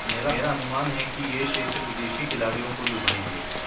मेरा अनुमान है कि ये क्षेत्र विदेशी खिलाड़ियों को लुभाएंगे